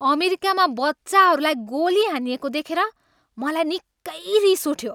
अमेरिकामा बच्चाहरूलाई गोली हानिएको देखेर मलाई निकै रिस उठ्यो।